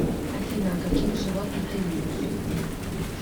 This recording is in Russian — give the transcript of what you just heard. афина а каких животных ты любишь